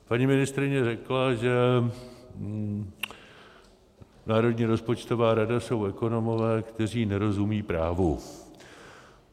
Paní ministryně řekla, že Národní rozpočtová rada jsou ekonomové, kteří nerozumějí právu.